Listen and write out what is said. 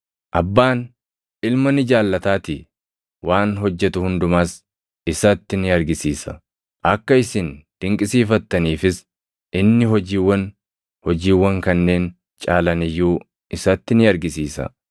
Abbaan Ilma ni jaallataatii; waan hojjetu hundumas isatti ni argisiisa. Akka isin dinqisiifattaniifis inni hojiiwwan hojiiwwan kanneen caalan iyyuu isatti ni argisiisa.